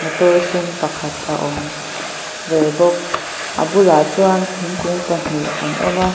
motor sen pakhat a awm ve bawk a bulah chuan thingkung pahnih an awma.